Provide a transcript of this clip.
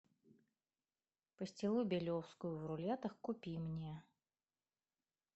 пастилу белевскую в рулетах купи мне